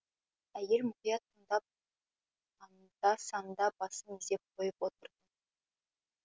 әйел мұқият тыңдап аңда санда басын изеп қойып отыр